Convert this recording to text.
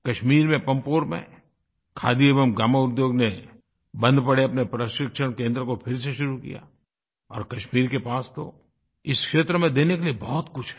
कश्मीर में पम्पोर में खादी एवं ग्रामोद्योग ने बंद पड़े अपने प्रशिक्षण केंद्र को फिर से शुरू किया और कश्मीर के पास तो इस क्षेत्र में देने के लिए बहुत कुछ है